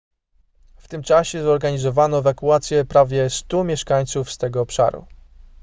w tym czasie zorganizowano ewakuację prawie 100 mieszkańców z tego obszaru